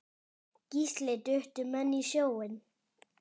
Gísli: Duttu menn í sjóinn?